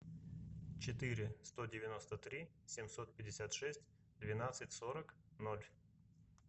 четыре сто девяносто три семьсот пятьдесят шесть двенадцать сорок ноль